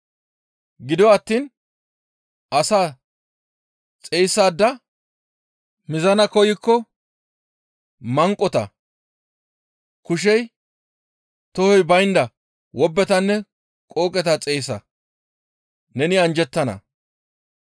Gido attiin asaa xeyssada mizana koykko manqota, kushey, tohoy baynda wobbetanne qooqeta xeyssa; neni anjjettana.